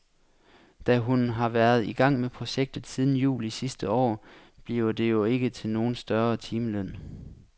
Da hun har været i gang med projektet siden juli sidste år, bliver det jo ikke til nogen større timeløn.